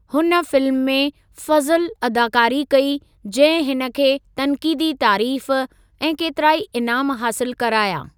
हुन फिल्म में 'फ़ज़लु' अदाकारी कई जंहिं हिन खे तन्क़ीदी तारीफ़ ऐं केतिराई इनामु हासिलु कराया।